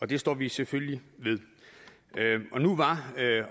det står vi selvfølgelig ved nu var